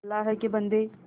अल्लाह के बन्दे